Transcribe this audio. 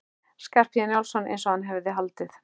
Skarphéðins Njálssonar eins og hann hafði haldið.